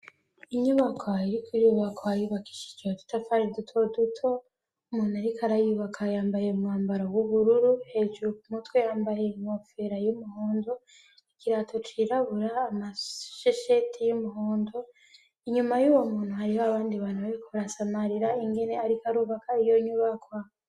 inyubakwa iri kwubakwa yubakishije udutafari duto duto umuntu ariko arayubaka yambaye umwambaro w'ubururu hejuru ku mutwe yambaye inkofera y'umuhondo ikirato cirabura amashesheti y'umuhondo inyuma y'uwo muntu hariho abandi bantu bariko samarira ingene ariko arubaka iyo nyubakwa.